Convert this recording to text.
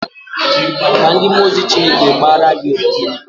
Kaa ndị mmụọ ozi Chineke gbara gị ogige.